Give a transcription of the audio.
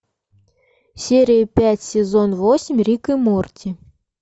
серия пять сезон восемь рик и морти